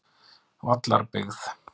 Vallarbyggð